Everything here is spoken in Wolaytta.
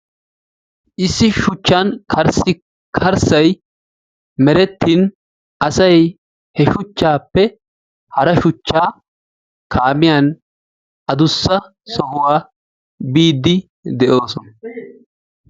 Issi shuchchan karssi karssay merettin asay he shuchaappe hara shuchcha kaamiyan aduissa sohuwa kaamiyan biidi de'oosona.